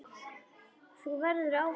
Þú verður áfram til.